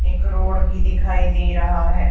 एक रोड भी दिखाई दे रहा है।